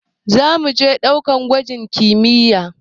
Zamuje ɗakunan gwaji na kimiyya